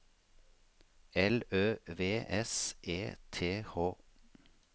L Ø V S E T H